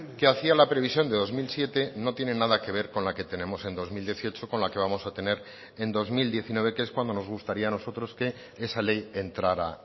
que hacía la previsión de dos mil siete no tiene nada que ver con la que tenemos en dos mil dieciocho con la que vamos a tener en dos mil diecinueve que es cuando nos gustaría a nosotros que esa ley entrara